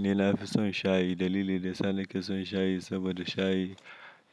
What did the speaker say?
Ni na fi son shayi. Dalili da ya sa nake son shayi saboda shayi